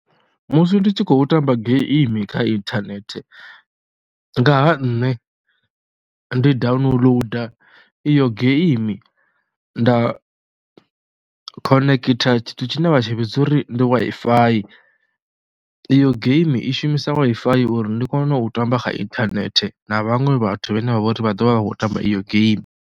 Musi ndi tshi khou tamba game kha inthanethe nga ha nṋe ndi downloader iyo game nda khonekhitha tshithu tshine vha tshi vhidza uri ndi Wi-Fi, iyo game i shumisa Wi-Fi ya uri ndi kone u tamba kha inthanethe na vhaṅwe vhathu vhane vha vha uri vha ḓo vha vha khou tamba iyo game.